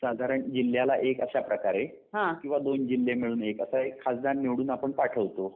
साधारण जिल्ह्याला एक अशा प्रकारे किंवा दोन जिल्हे मिळून असे एक खासदार निवडून आपण पाठवतो